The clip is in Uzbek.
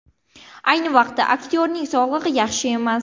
Ayni vaqtda aktyorning sog‘lig‘i yaxshi emas.